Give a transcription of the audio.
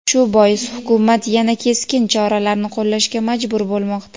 Shu bois Hukumat yana keskin choralarni qo‘llashga majbur bo‘lmoqda.